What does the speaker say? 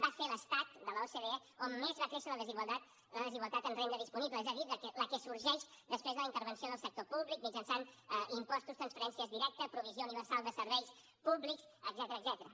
va ser l’estat de l’ocde on més va créixer la desigualtat en renda disponible és a dir la que sorgeix després de la intervenció del sector públic mitjançant impostos transferències directes provisió universal de serveis públics etcètera